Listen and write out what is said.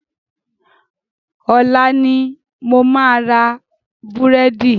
Ọ̀la ni mo máa ra búrẹ́dì.